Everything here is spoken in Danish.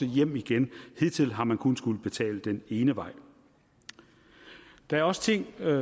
hjem igen hidtil har man kun skullet betale den ene vej der er også ting